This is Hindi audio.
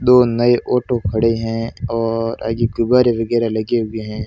दो नए ऑटो खड़े हैं और आगे फुव्वारे वगैरा लगे हुए हैं।